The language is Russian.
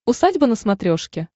усадьба на смотрешке